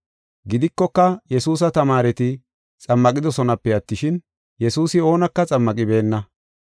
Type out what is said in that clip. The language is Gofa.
Gidikoka Yesuusa tamaareti xammaqidosonape attishin, Yesuusi oonaka xammaqibeenna.